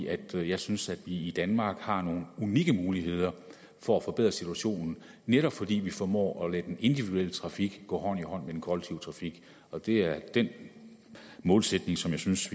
at jeg synes at vi i danmark har nogle unikke muligheder for at forbedre situationen netop fordi vi formår at lade den individuelle trafik gå hånd i hånd med den kollektive trafik og det er den målsætning som jeg synes